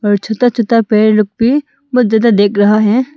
और छोटा छोटा पेड़ लोग पे बहुत ज्यादा देख रहा है।